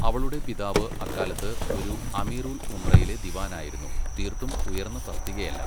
അവളുടെ പിതാവ് അക്കാലത്ത് ഒരു അമീർ ഉൽ ഉംറയിലെ ദിവാനായിരുന്നു, തീർത്തും ഉയർന്ന തസ്തികയല്ല.